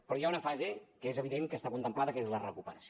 però hi ha una fase que és evident que està contemplada que és la recuperació